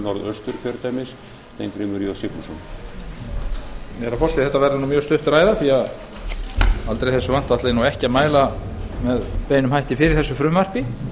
herra forseti þetta verður mjög stutt ræða því aldrei þessu vant ætla ég ekki að mæla með beinum hætti fyrir þessu frumvarpi